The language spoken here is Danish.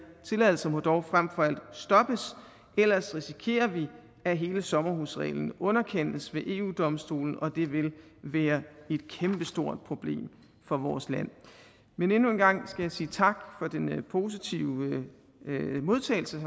tilladelser må dog frem for alt stoppes ellers risikerer vi at hele sommerhusreglen underkendes ved eu domstolen og det vil være et kæmpestort problem for vores land men endnu en gang skal jeg sige tak for den positive modtagelse